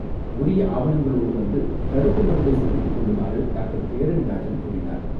உரிய ஆவணங்களோடு வந்து தடுப்பு மருந்தை செலுத்திக் கொள்ளுமாறுடாக்டர் தேரணிராஜன் கூறினார்.